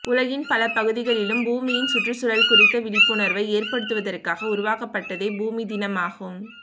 உலகின் பல பகுதிகளிலும் பூமியின் சுற்றுச்சூழல் குறித்த விழிப்புணர்வை ஏற்படுத்துவதற்காக உருவாக்கப்பட்டதே பூமி தினமாகும்